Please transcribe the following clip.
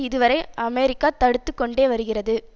இது வரை அமெரிக்கா தடுத்து கொண்டே வருகிறது